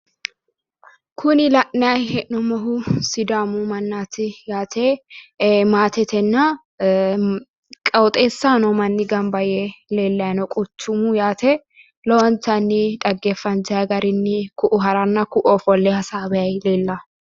Kunii la'nayi hee'noommohu sidaamu mannaati yaate ee maatetenna qooxeessaho noo manni gamba yee leellayi no quchumu yaate lowontanni dhaggeeffantayi garinni ku'u haranna ku'u ofolle hassawayi leellawo